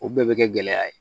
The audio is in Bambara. O bɛɛ bɛ kɛ gɛlɛya ye